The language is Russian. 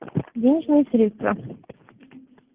денежные средства